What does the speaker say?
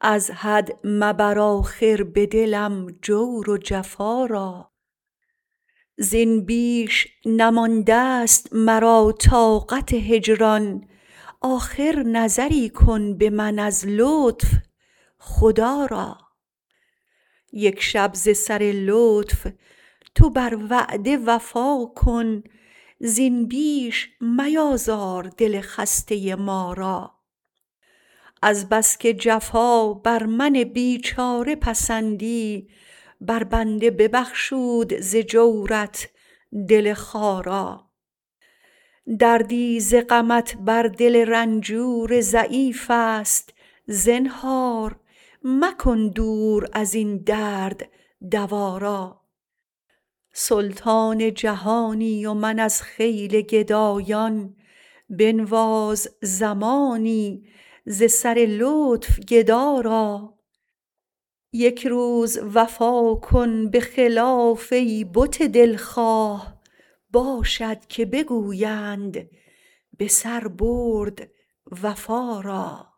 از حد مبر آخر به دلم جور و جفا را زین بیش نمانده ست مرا طاقت هجران آخر نظری کن به من از لطف خدا را یک شب ز سر لطف تو بر وعده وفا کن زین بیش میازار دل خسته ما را از بس که جفا بر من بیچاره پسندی بر بنده ببخشود ز جورت دل خارا دردی ز غمت بر دل رنجور ضعیف است زنهار مکن دور از این درد دوا را سلطان جهانی و من از خیل گدایان بنواز زمانی ز سر لطف گدا را یک روز وفا کن به خلاف ای بت دلخواه باشد که بگویند به سر برد وفا را